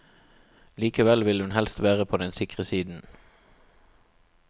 Likevel vil hun helst være på den sikre siden.